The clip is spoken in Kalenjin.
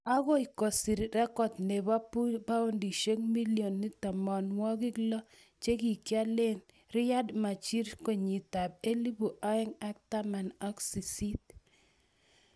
Agoi kosir record nebo paundisiek million tamanwokik lo chekikialee Riyad Mahrez kenyitab elebu oeng ak taman ak sisit